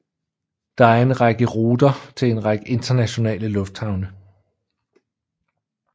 Der er en række ruter til en række internationale lufthavne